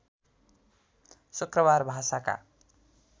शुक्रबार भाषाका